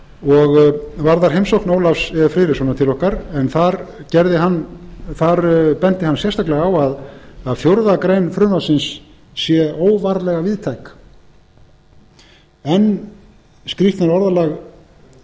og varðar heimsókn ólafs e friðrikssonar til okkar en þar benti hann sérstaklega á að fjórðu grein frumvarpsins sé óvarlega víðtæk enn skrýtnara orðalag en